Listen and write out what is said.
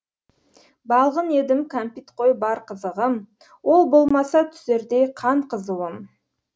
балғын едім кәмпит қой бар қызығым ол болмаса түсердей қан қызуым